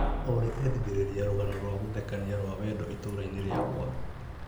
Olĩ endithĩrĩria rũgano rwa gũthekania rwa wendo itũra-inĩ rĩakwa.